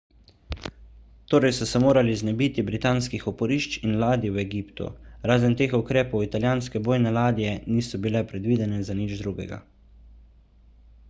torej so se morali znebiti britanskih oporišč in ladij v egiptu razen teh ukrepov italijanske bojne ladje niso bile predvidene za nič drugega